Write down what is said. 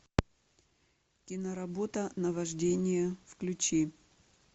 киноработа наваждение включи